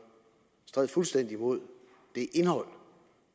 strider fuldstændig imod det indhold